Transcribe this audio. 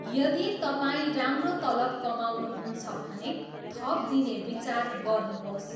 यदि तपाईँ राम्रो तलब कमाउनुहुन्छ भने, थप दिने विचार गर्नुहोस्।